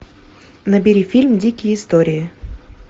набери фильм дикие истории